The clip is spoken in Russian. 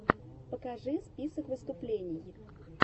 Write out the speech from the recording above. покажи список выступлений